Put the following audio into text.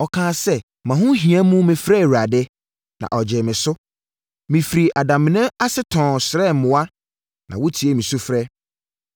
Ɔkaa sɛ, “Mʼahohia mu mefrɛɛ Awurade, na ɔgyee me so. Mefiri adamena ase tɔnn srɛɛ mmoa na wotiee me sufrɛ.